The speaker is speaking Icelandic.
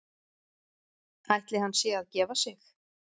Ætli hann sé að gefa sig?